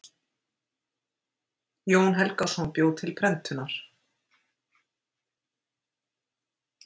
Jón Helgason bjó til prentunar.